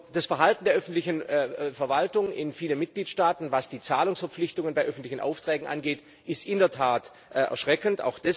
Das Verhalten der öffentlichen Verwaltung in vielen Mitgliedstaaten, was die Zahlungsverpflichtungen bei öffentlichen Aufträgen angeht, ist in der Tat erschreckend.